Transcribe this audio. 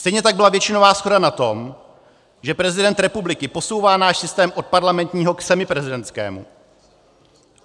Stejně tak byla většinová shoda na tom, že prezident republiky posouvá náš systém od parlamentního k semiprezidentskému.